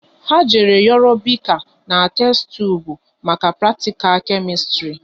Ha jere yoro bika na testubu maka pratikal Kemistri